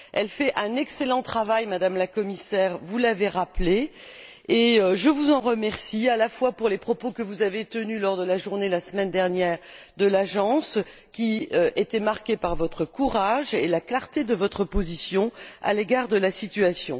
L'Agence fait un excellent travail, Madame la Commissaire, vous l'avez rappelé et je vous en remercie, ainsi que pour les propos que vous avez tenus la semaine dernière, lors de la Journée de l'Agence, qui était marquée par votre courage et la clarté de votre position à l'égard de la situation.